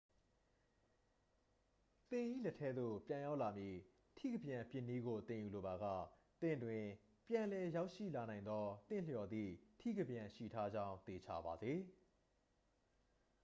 သင်၏လက်ထဲသို့ပြန်ရောက်လာမည့် ထိကပြန်ပစ်နည်းကို သင်ယူလိုပါက သင့်တွင် ပြန်လည်ရောက်ရှိလာနိုင်သော သင့်လျော်သည့်ထိကပြန်ရှိထားကြောင်း သေချာပါစေ